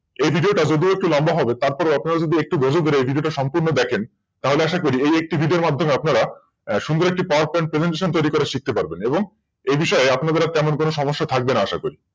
এই ভিডিওটা যদি একটু লম্বা হবে তার থেকেও এই ভিডিওটা যদি একটু ধৈর্য ধরে এই ভিডিওটা সম্পূর্ণ দেখেন তাহলে আশা করি একটি ভিডিওর মধ্যে আপনারা সুন্দর একটা PowerPointPresentation তৈরী করা শিখতে পারবেন।